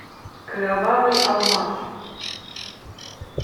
кровавый алмаз